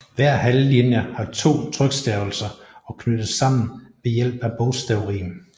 Hver halvlinje har to trykstavelser og knyttes sammen ved hjælp af bogstavrim